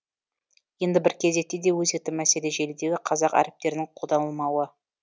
енді бір кезекті де өзекті мәселе желідегі қазақ әріптерінің қолданылмауы